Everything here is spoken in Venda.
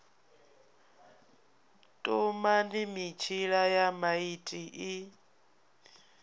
tumani mitshila ya maiti i